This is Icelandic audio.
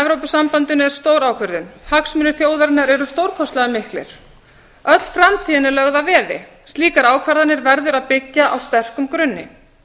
evrópusambandinu er stór ákvörðun hagsmunir þjóðarinnar eru stórkostlega miklir öll framtíðin er lögð að veði slíkar ákvarðanir verður að byggja á sterkum grunni